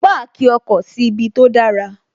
Páàkì ọkọ̀ síbi tó dára